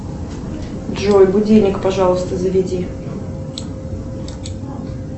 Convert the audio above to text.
джой будильник пожалуйста заведи